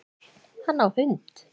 Hann á hund